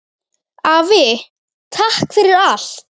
Afi, takk fyrir allt!